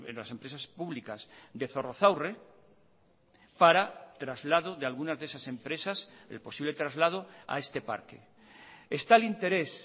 las empresas públicas de zorrozaurre para traslado de algunas de esas empresas el posible traslado a este parque está el interés